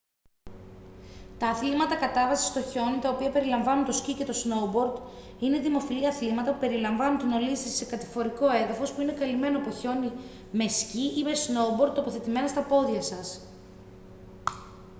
τα αθλήματα κατάβασης στο χιόνι τα οποία περιλαμβάνουν το σκι και το σνόουμπορντ είναι δημοφιλή αθλήματα που περιλαμβάνουν την ολίσθηση σε κατηφορικό έδαφος που είναι καλυμμένο από χιόνι με σκι ή με σνόουμπορντ τοποθετημένα στα πόδια σας